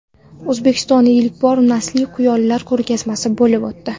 O‘zbekistonda ilk bor naslli quyonlar ko‘rgazmasi bo‘lib o‘tdi.